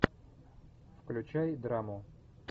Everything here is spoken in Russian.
включай драму